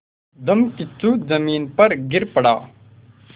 धम्मकिच्चू ज़मीन पर गिर पड़ा